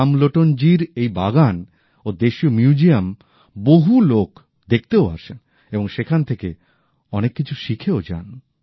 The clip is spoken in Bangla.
রামলোটন জির এই বাগান ও দেশীয় মিউজিয়াম বহু লোক দেখতেও আসেন এবং সেখান থেকে অনেক কিছু শিখেও যান